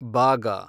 ಬಾಗ